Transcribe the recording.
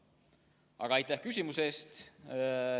Aga aitäh küsimuse eest.